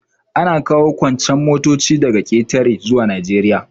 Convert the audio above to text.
Ana kawo kuncen motoci daga ƙetare zuwa Najeriya.